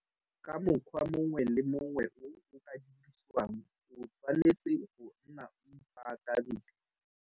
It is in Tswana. Ka mokgwa mongwe le mongwe o o ka dirisiwang o tshwanetse go nna o ipaakantshe.